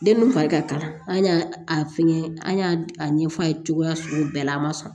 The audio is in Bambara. Den min fari ka kalan an y'a a fɛngɛ an y'a ɲɛf'a ye cogoya sugu bɛɛ la a ma sɔn